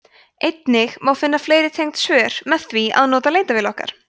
einnig má finna fleiri tengd svör með því að nota leitarvél okkar